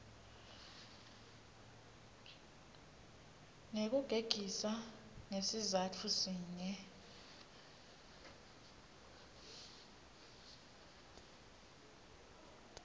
ngekugegisa ngesizatfu sinye